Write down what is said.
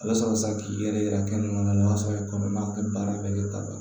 A bɛ sɔrɔ sa k'i yɛrɛ kɛ i kɔnɔma a bɛ baara bɛɛ kɛ ka ban